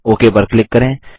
okay पर click करें